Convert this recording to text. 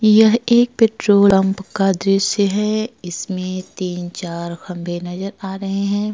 यह एक petrol pump का दृश्य हैं। इसमें तीन चार खम्बे नज़र आ रहे हैं।